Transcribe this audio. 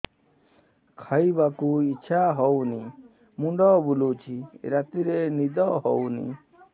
ଖାଇବାକୁ ଇଛା ହଉନି ମୁଣ୍ଡ ବୁଲୁଚି ରାତିରେ ନିଦ ହଉନି